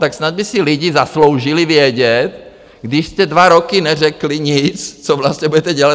Tak snad by si lidé zasloužili vědět, když jste dva roky neřekli nic, co vlastně budete dělat.